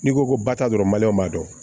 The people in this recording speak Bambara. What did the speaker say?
N'i ko ko ba ta dɔrɔn b'a dɔn